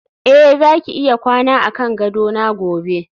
eh zaki iya kwana akan gadona gobe